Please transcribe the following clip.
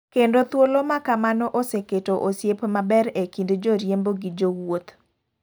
Kendo thuolo makamano oseketo osiep maber e kind jo riembo gi jo wuoth.